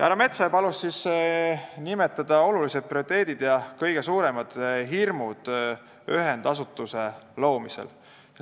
Härra Metsoja palus nimetada prioriteedid ja kõige suuremad hirmud ühendasutuse loomisel.